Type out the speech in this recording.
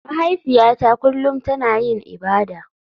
Mahaifiyata kullum tana yin ibada.